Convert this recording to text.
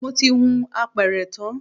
Mo ti hun apẹ̀rẹ̀ tán